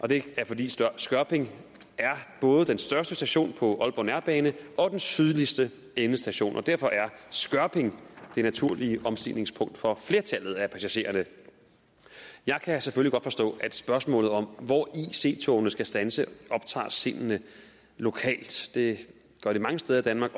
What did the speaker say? det er fordi skørping både er den største station på aalborg nærbane og den sydligste endestation derfor er skørping det naturlige omstigningspunkt for flertallet af passagererne jeg kan selvfølgelig godt forstå at spørgsmålet om hvor ic togene skal standse optager sindene lokalt det gør det mange steder i danmark